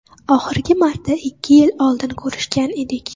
Oxirgi marta ikki yil oldin ko‘rishgan edik.